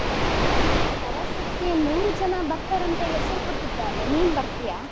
ಪ್ರವಾಸಕ್ಕೆ ನೂರು ಜನ ಬರ್ತಾರಂತ ಹೆಸರು ಕೊಟ್ಟಿದ್ದಾರೆ ನೀನ್ ಬರ್ತೀಯಾ?